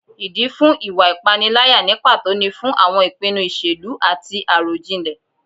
Ìdí fún ìwà ìpániláyà ní pàtó ni fún àwọn ìpinnu ìṣèlú àti àròjinlẹ̀